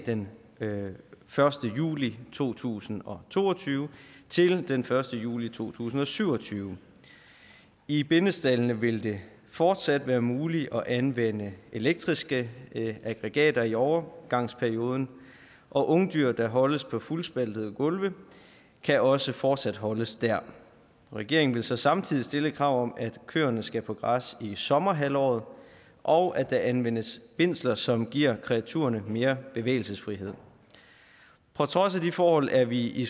den første juli to tusind og to og tyve til den første juli to tusind og syv og tyve i bindestaldene vil det fortsat være muligt at anvende elektriske aggregater i overgangsperioden og ungdyr der holdes på fuldspaltede gulve kan også fortsat holdes der regeringen vil så samtidig stille et krav om at køerne skal på græs i sommerhalvåret og at der anvendes bindsler som giver kreaturerne mere bevægelsesfrihed på trods af de forhold er vi i